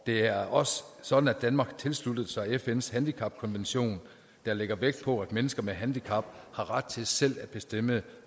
det er også sådan at danmark tilsluttede sig fns handicapkonvention der lægger vægt på at mennesker med handicap har ret til selv at bestemme